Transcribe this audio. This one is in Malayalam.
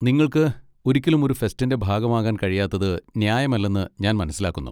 നിങ്ങൾക്ക് ഒരിക്കലും ഒരു ഫെസ്റ്റിന്റെ ഭാഗമാകാൻ കഴിയാത്തത് ന്യായമല്ലെന്ന് ഞാൻ മനസ്സിലാക്കുന്നു.